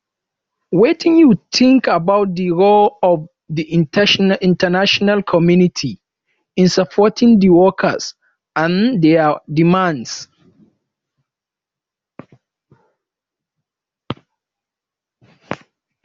wetin you think about di role of di international community in supporting di workers and dia demands